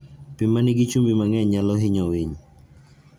Pi ma nigi chumbi mang'eny nyalo hinyo winy.